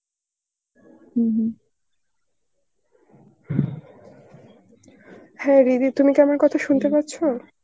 হম হম, হ্যাঁ রিধি তুমি কি আমার কথা শুনতে পাচ্ছো?